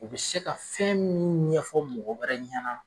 U bɛ se ka fɛn minnu ɲɛfɔ mɔgɔ wɛrɛ ɲɛna